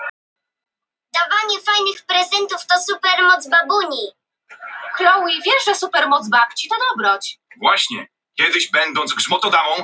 Félagskerfi Afríski fíllinn er félagsdýr sem lifir í nánum hópum með mikil og flókin samskiptakerfi.